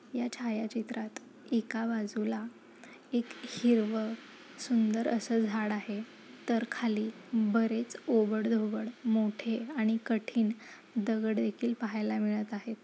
या छायाचित्रात एका बाज़ूला एक हिरवं सुंदर असं झाड आहे तर खाली बरेच ओबड धोबड मोठे आणि कठीण दगड देखील पहायला मिळत आहे.